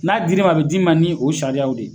N'a dir'i ma a bɛ d'i ma ni o sariyaw de ye.